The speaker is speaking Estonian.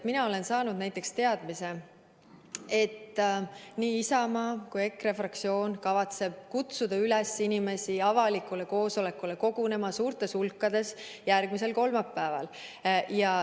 Aga olen saanud teada, et Isamaa ja EKRE fraktsioon kavatsevad inimesi kutsuda üles suurtes hulkades kogunema avalikule koosolekule järgmisel kolmapäeval.